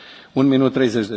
Herr Präsident!